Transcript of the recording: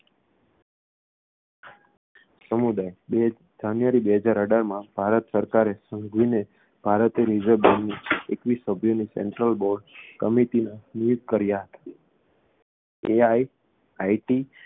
સમુદાય બે જાન્યુઆરી બે હજાર અઢારમાં ભારત સરકારે સંઘવીને ભારતીય reserve bank ની એકવીસ સભ્યોની central board committee માં નિયુક્ત કર્યા હતા તે આઈ આઈ ટી